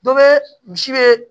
Dɔ bɛ misi be